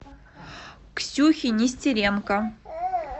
ксюхе нестеренко